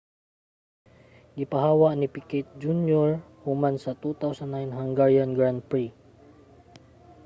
gipahawa si picquet jr. human sa 2009 hungarian grand prix